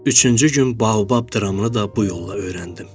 Üçüncü gün baobab dramını da bu yolla öyrəndim.